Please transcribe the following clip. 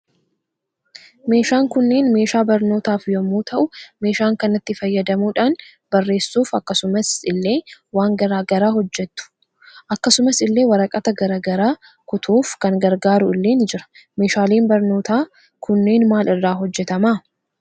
Meeshaan kunneen meeshaa barnootas yommuu ta'u meeshaan kanatti fayyadamuudhaan bareessuuf akkasumas ille waan garaa garaa hojjetu akkasumas ille waraqata garaa garaa kutuuf kan gargaaru illee nii Jira. Meeshaaleen barnootas kunneen maal irraa hojjetama?